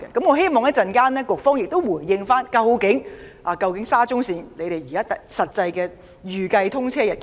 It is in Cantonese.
我希望局方稍後回應時能交代沙中線的實際預計通車日期。